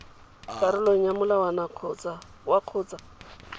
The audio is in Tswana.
karolong ya molawana wa kgotsa